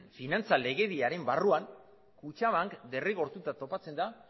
finantza legediaren barruan kutxabank derrigortuta topatzen da